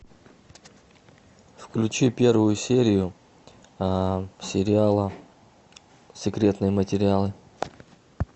включи первую серию сериала секретные материалы